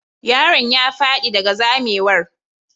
Yaron ya fadi daga zamewar.